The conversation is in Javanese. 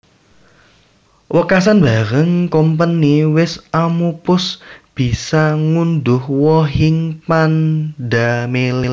Wekasan bareng Kompeni wis amupus bisa ngundhuh wohing pandamelé